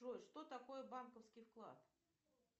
джой что такое банковский вклад